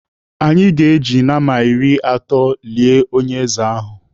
Anyị ga-eji nama iri atọ lie onye ọzọ ahụ.